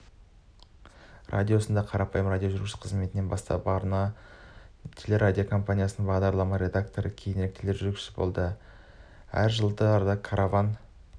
радиосында қарапайым радиожүргізуші қызметінен бастап арна телерадиокомпаниясында бағдарламалар редакторы кейінірек тележүргізуші болды әр жылдары караван